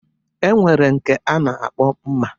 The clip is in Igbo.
E nwere nke a na-akpọ Mma